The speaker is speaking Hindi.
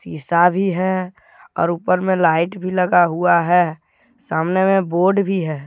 सीसा भी है और ऊपर में लाइट भी लगा हुआ है सामने में बोर्ड भी है।